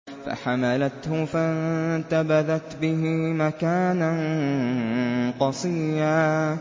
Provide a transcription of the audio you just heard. ۞ فَحَمَلَتْهُ فَانتَبَذَتْ بِهِ مَكَانًا قَصِيًّا